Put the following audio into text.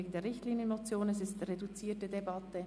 Wir führen eine reduzierte Debatte.